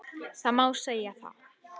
Það má segja það.